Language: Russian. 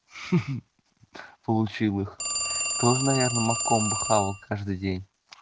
ха ха получил их тоже наверное маком бухал каждый день